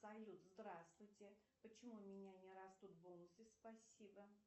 салют здравствуйте почему у меня не растут бонусы спасибо